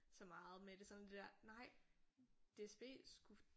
Så meget med det sådan det der nej DSB skulle